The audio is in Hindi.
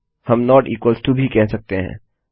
हम नोट इक्वल टो असमान भी कह सकते हैं